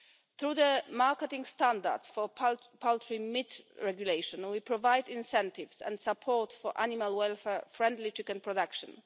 Through the marketing standards for poultry meat regulation, we provide incentives and support for animal-welfare-friendly chicken production.